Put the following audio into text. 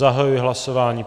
Zahajuji hlasování.